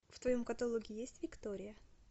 в твоем каталоге есть виктория